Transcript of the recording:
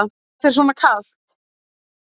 Er þér svona kalt?